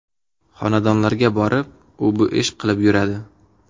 Xonadonlarga borib, u-bu ish qilib yuradi.